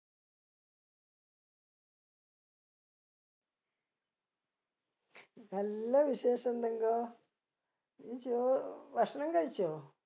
നല്ല വിശേഷം തങ്കോ നീ ചോ ഭക്ഷണം കഴിച്ചോ